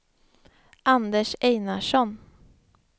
Anders Einarsson